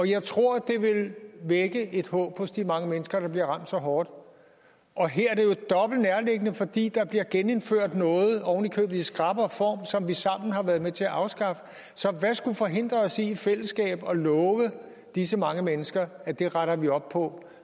jeg tror det vil vække et håb hos de mange mennesker der bliver ramt så hårdt og her er det jo dobbelt nærliggende fordi der bliver genindført noget oven i købet i skrappere form som vi sammen har været med til at afskaffe så hvad skulle forhindre os i i fællesskab at love disse mange mennesker at det retter vi op på